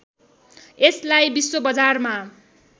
यसलाई विश्व बजारमा